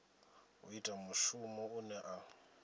u ita mushumo une a